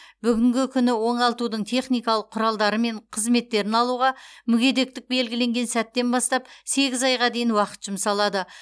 бүгінгі күні оңалтудың техникалық құралдары мен қызметтерін алуға мүгедектік белгіленген сәттен бастап сегіз айға дейін уақыт жұмсалады